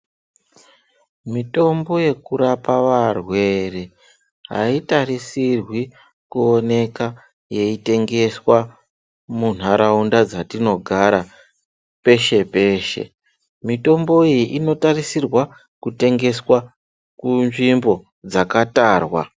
Mitombo yekurapa varwere haitarisirwi kuonekwa yeitengeswa mundaraunda dzatinogara peshe-peshe mitombo iyi inotarisirwa kutengeswa kunzvimbo dzakatarwa.